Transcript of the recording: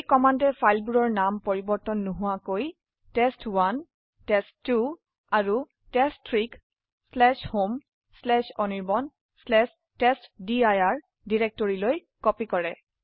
এই কমান্ডে ফাইলবোৰৰ নাম পৰিবৰ্তন নোহোৱাকৈ টেষ্ট1 টেষ্ট2 আৰু test3ক homeanirbantestdir ডিৰেক্টৰিলৈ কপি কৰে